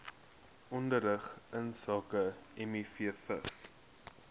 onderrig insake mivvigs